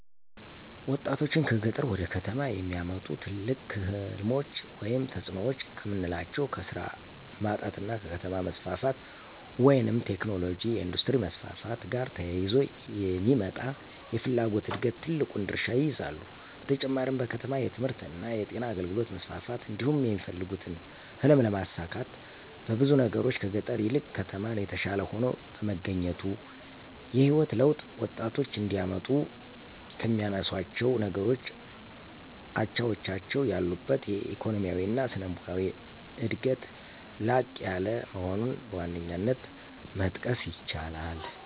ወጣቶችን ከገጠር ወደ ከተሞች የሚያመጡ ትልቅ ሕልሞች ወይም ተጽዕኖዎች ከምናላቸው ከስራ ማጣት እና ከከተማ መስፋፋት (ቴክኖሎጅ፣ የኢንዱስትሪ መስፋፋት )ጋር ተያይዞ የሚመጣ የፍላጎት ዕድገት ትልቁን ድርሻ ይይዛሉ። በተጨማሪም በከተማ የትምህርትእና የጤና አገልግሎት መስፋፋት እንዲሁም የሚፈልጉትን ህልም ለማሳካት በብዙ ነገሮች ከገጠር ይልቅ ከተማ የተሻለ ሆኖ በመገኘቱ። የህይወት ለውጥ ወጣቶች እንዲያመጡ ከሚያነሳሷቸው ነገሮች አቻዎቻቸው ያሉበት ኢኮኖሚያዊ እና ስነልቦናዊ ዕድገት ላቅ ያለ መሆኑን በዋነኛነት መጥቀስ ይቻላል።